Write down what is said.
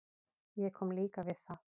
Ég kom líka við það.